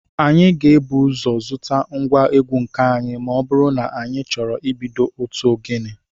Anyị ga-ebu ụzọ zụta ngwa egwu nke anyị ma ọ bụrụ na anyị chọrọ ibido otu ogene